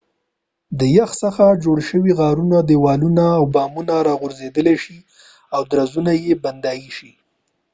د یخ څخه جوړ شويو غارونو دیوالونه او بامونه راغورځیدای شي او درزونه یې بندیدای شي